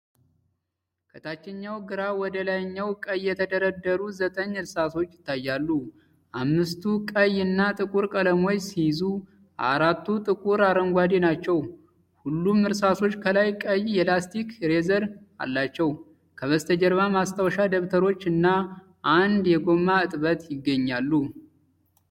ከታችኛው ግራ ወደ ላይኛው ቀኝ የተደረደሩ ዘጠኝ እርሳሶች ይታያሉ። አምስቱ ቀይ እና ጥቁር ቀለሞችን ሲይዙ፣ አራቱ ጥቁር አረንጓዴ ናቸው። ሁሉም እርሳሶች ከላይ ቀይ የላስቲክ ኢሬዘር አላቸው። ከበስተጀርባ፣ ማስታወሻ ደብተሮች እና አንድ የጎማ እጥበት ይገኛሉ።